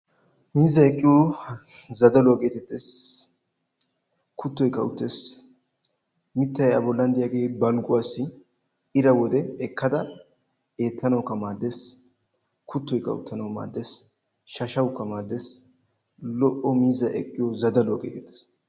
miizay eqqiyo zadalluwaa geetetessi kuttoyikka a bollani uttanawkka maadessi balguwani qassi aappe mittaa ekkidi eettanawkka maadessi.